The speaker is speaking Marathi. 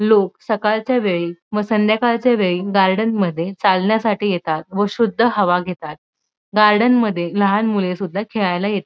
लोक सकाळच्या वेळी म संध्याकाळच्या वेळी गार्डन मध्ये चालण्यासाठी येतात व शुद्ध हवा घेतात गार्डन मध्ये लहान मुले सुद्धा खेळायला येत--